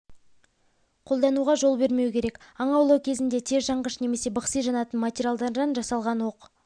қолдануға жол бермеу керек аң аулау кезінде тез жанғыш немесе бықси жанатын материалдардан жасалған оқ